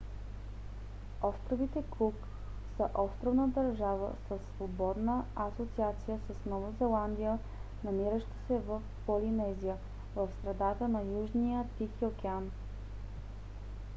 островите кук са островна държава със свободна асоциация с нова зеландия намираща се в полинезия в средата на южния тихи океан